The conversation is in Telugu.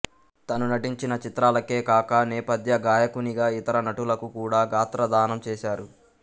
తను నటించిన చిత్రాలకే కాక నేపధ్య గాయకునిగా ఇతర నటులకు కూడా గాత్ర దానం చేశారు